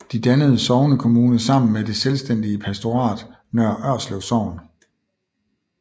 De dannede sognekommune sammen med det selvstændige pastorat Nørre Ørslev Sogn